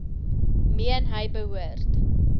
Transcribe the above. meen hy behoort